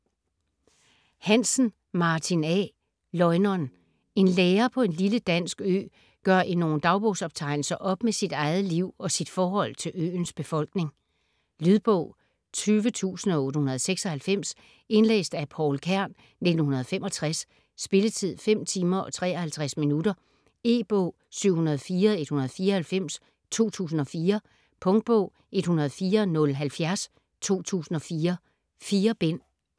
Hansen, Martin A.: Løgneren En lærer på en lille dansk ø gør i nogle dagbogsoptegnelser op med sit eget liv og sit forhold til øens befolkning. Lydbog 20896 Indlæst af Pouel Kern, 1965. Spilletid: 5 timer, 53 minutter. E-bog 704194 2004. Punktbog 104070 2004. 4 bind.